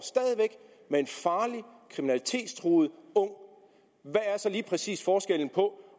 med en farlig kriminalitetstruet ung hvad er så lige præcis forskellen på